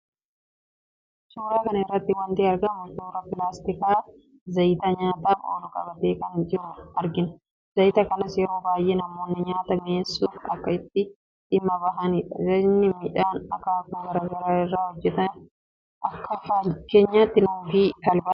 Suuraa kana irratti waanti argamu, suuraa pilaastikaa zayita nyaataaf oolu qabatee jiru argina. Zayita kanas yeroo baayyee namoonni nyaata mi'eessuuf akka itti dhimma bahanidha. Zayitni midhaan akaakuu garaagaraa irraa hojjetaa. Akka fakkeenyaatti nuugii, talbaa